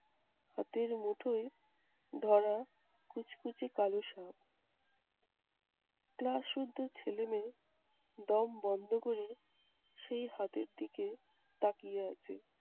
হাতের মুঠোয় ধরা কুচকুচে কালো সাপ। class শুদ্ধ ছেলে-মেয়ে দম বন্ধ ক'রে সেই হাতের দিকে তাকিয়ে আছে।